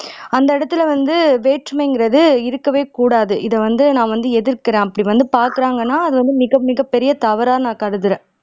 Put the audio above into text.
அந்த இடத்துல வந்து வேற்றுமைங்கிறது இருக்கவே கூடாது இதை வந்து நான் வந்து எதிர்க்கிறேன் அப்படி வந்து பாக்குறாங்கன்னா அது மிக மிகப் பெரிய தவறா நான் கருதுறேன்